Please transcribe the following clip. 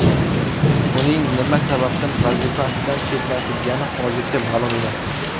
Uning nima sababdan vazifasidan chetlatilgani hozircha ma’lum emas.